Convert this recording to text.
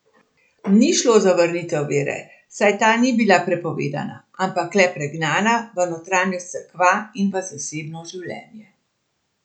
Ni šlo za vrnitev vere, saj ta ni bila prepovedana, ampak le pregnana v notranjost cerkva in v zasebno življenje.